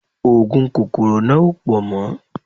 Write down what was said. Oògùn kòkòrò náà ò pọ̀ mọ́